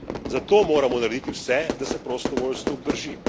Zato moramo narediti vse, da se prostovoljstvo obdrži.